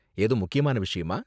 ஏதும் முக்கியமான விஷயமா?